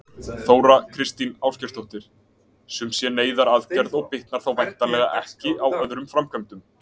Þóra Kristín Ásgeirsdóttir: Sum sé neyðaraðgerð og bitnar þá væntanlega ekki á öðrum framkvæmdum?